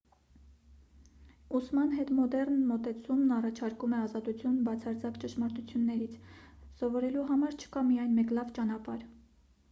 ուսման հետմոդեռն մոտեցումն առաջարկում է ազատություն բացարձակ ճշմարտություններից սովորելու համար չկա միայն մեկ լավ ճանապարհ